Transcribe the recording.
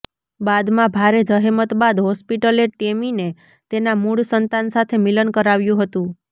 બાદમાં ભારે જહેમત બાદ હોસ્પિટલે ટેમીને તેના મૂળ સંતાન સાથે મિલન કરાવ્યું હતું